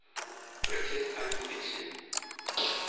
british science fiction